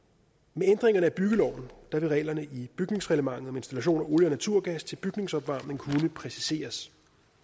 med ændringerne af byggeloven vil reglerne i bygningsreglementet om installationer af olie og naturgas til bygningsopvarmning kunne præciseres